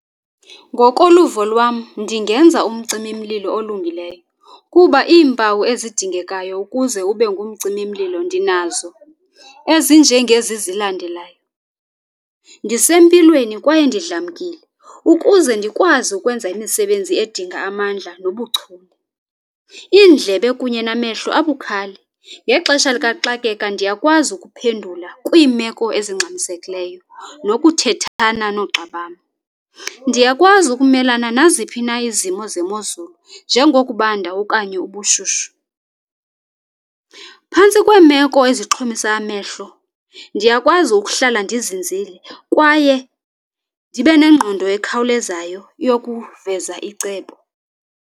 Ngokoluvo lwam ndingenza umcimimlilo olungileyo kuba iimpawu ezidingekayo ukuze ubengumcimimlilo ndinazo ezinjengezi zilandelayo. Ndisempilweni kwaye ndidlamkile ukuze ndikwazi ukwenza imisebenzi edinga amandla nobuchule. Iindlebe kunye namehlo abukhali, ngexesha likaxakeka ndiyakwazi ukuphendula kwiimeko ezingxamisekileyo nokuthethana noogxa bam. Ndiyakwazi ukumelana naziphi na izimo zemozulu njengokubanda okanye ubushushu. Phantsi kweemeko ezixhomisa amehlo ndiyakwazi ukuhlala ndizinzile kwaye ndibe nengqondo ekhawulezayo yokuveza icebo.